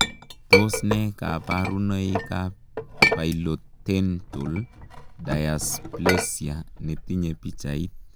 Tos nee kabaruboik ap pilotentol daisplesia netinyee pichait